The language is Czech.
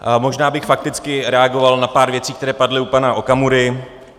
Možná bych fakticky reagoval na pár věcí, které padly u pana Okamury.